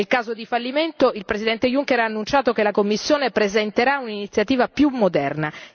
In caso di fallimento il Presidente Juncker ha annunciato che la Commissione presenterà un'iniziativa più moderna.